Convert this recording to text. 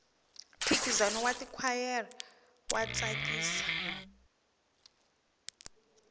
mphikizano wa tikhwayere wa tsakisa